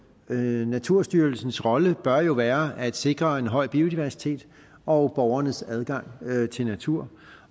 naturstyrelsens rolle bør jo være at sikre en høj biodiversitet og borgernes adgang til natur